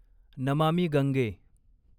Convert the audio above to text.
Namami Gange